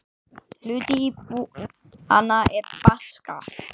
Hluti íbúanna er Baskar.